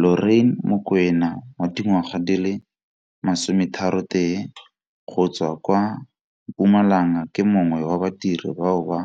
Lorraine Mokoena 31 go tswa kwa Mpumalanga ke mongwe wa badiri bao ba